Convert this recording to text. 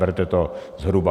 Berte to zhruba.